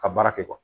Ka baara kɛ